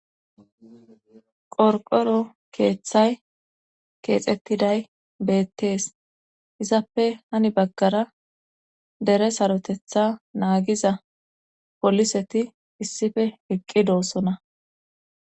Qorqoro keeththay keexetiday beetees. izappe heni bagara dere saroteththa nagiza poliseti isippe eqqidosona.